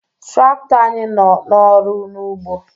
Trakto anyị nọ n'ọrụ n'ugbo